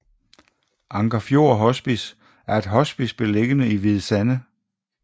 Anker Fjord Hospice er et hospice beliggende i Hvide Sande